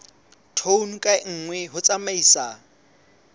tone ka nngwe ho tsamaisa